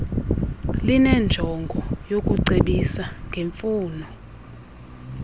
linenjongo yokucebisa ngemfuno